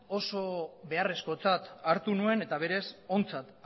oso beharrezkotzat hartu nuen eta berez ontzat